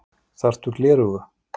Þarftu gleraugu?